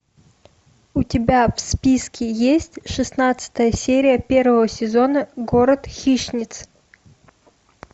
у тебя в списке есть шестнадцатая серия первого сезона город хищниц